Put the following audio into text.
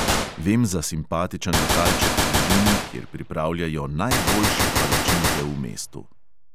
Vem za simpatičen lokalček v bližini, kjer pripravljajo najboljše palačinke v mestu.